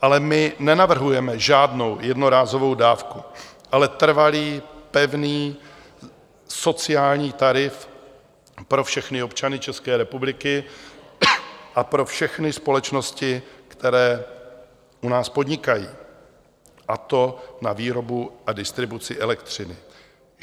Ale my nenavrhujeme žádnou jednorázovou dávku, ale trvalý pevný sociální tarif pro všechny občany České republiky a pro všechny společnosti, které u nás podnikají, a to na výrobu a distribuci elektřiny.